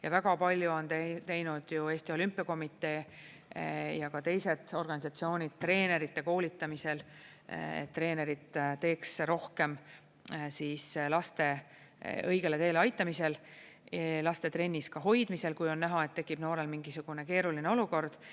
Ja väga palju on teinud ju Eesti Olümpiakomitee ja teised organisatsioonid treenerite koolitamisel, et treenerid teeks rohkem laste õigele teele aitamisel, ka laste trennis hoidmisel, kui on näha, et tekib noorel mingisugune keeruline olukord.